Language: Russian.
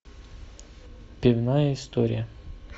пивная история